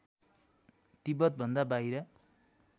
तिब्बत भन्दा बाहिर